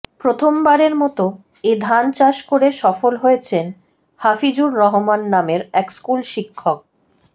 প্রথমবারের মতো এ ধান চাষ করে সফল হয়েছেন হাফিজুর রহমান নামের এক স্কুল শিক্ষক